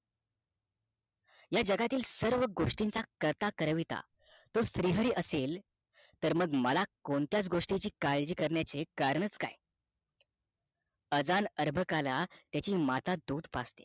या जगातील सर्व गोष्टीचा करता करविता तो श्री हरी असेल तर मला कोणत्याच गोष्टीची काळजी करण्याचे कारणच काय अजाण आरंभकाला त्याची माता दूध पाजते